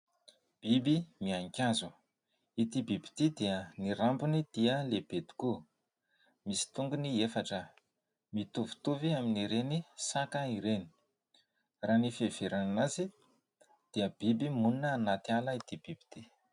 biby miainkazô ity biby ity dia nirambony dia lehibe tokoa misy tongony efatra aho mitovitovy amin'ireny saka ireny raha ny fieveranana azy dia biby monina hanaty ala ity biby ity